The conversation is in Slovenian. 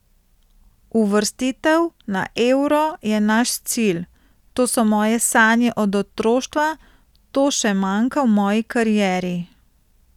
Uvrstitev na euro je naš cilj, to so moje sanje od otroštva, to še manjka v moji karieri.